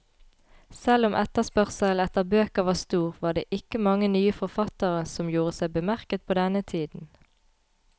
Selv om etterspørselen etter bøker var stor, var det ikke mange nye forfattere som gjorde seg bemerket på denne tiden.